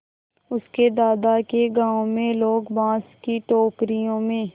उसके दादा के गाँव में लोग बाँस की टोकरियों में